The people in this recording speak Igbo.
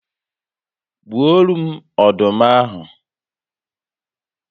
Gbuoro m ọdụm ahụ